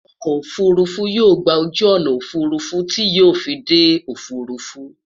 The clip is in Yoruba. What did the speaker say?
okò òfurufú yóò gbà ojú ọnà òfurufú ti yóò fí dé òfurufú